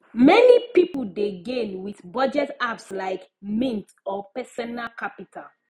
many people dey gain with budget apps like mint or personal capital